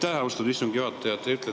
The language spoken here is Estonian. Aitäh, austatud istungi juhataja!